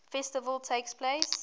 festival takes place